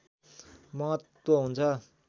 महत्त्व हुन्छ